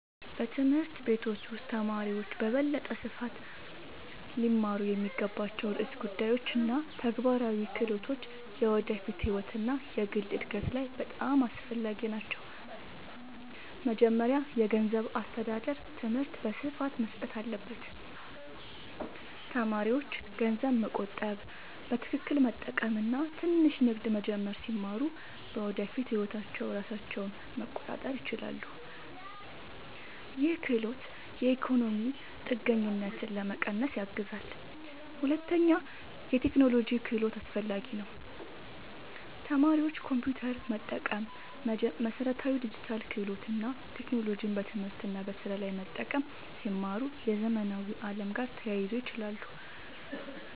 በትምህርት ቤቶች ውስጥ ተማሪዎች በበለጠ ስፋት ሊማሩ የሚገባቸው ርዕሰ ጉዳዮች እና ተግባራዊ ክህሎቶች የወደፊት ህይወት እና የግል እድገት ላይ በጣም አስፈላጊ ናቸው። መጀመሪያ የገንዘብ አስተዳደር ትምህርት በስፋት መሰጠት አለበት። ተማሪዎች ገንዘብ መቆጠብ፣ በትክክል መጠቀም እና ትንሽ ንግድ መጀመር ሲማሩ በወደፊት ህይወታቸው ራሳቸውን መቆጣጠር ይችላሉ። ይህ ክህሎት የኢኮኖሚ ችግኝትን ለመቀነስ ያግዛል። ሁለተኛ የቴክኖሎጂ ክህሎት አስፈላጊ ነው። ተማሪዎች ኮምፒውተር መጠቀም፣ መሠረታዊ ዲጂታል ክህሎት እና ቴክኖሎጂን በትምህርት እና በስራ ላይ መጠቀም ሲማሩ የዘመናዊ ዓለም ጋር ተያይዞ ይችላሉ።